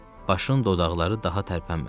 Başın dodaqları daha tərpənmədi.